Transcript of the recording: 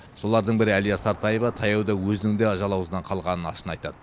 солардың бірі әлия сартаева таяуда өзінің де ажал аузынан қалғанын ашына айтады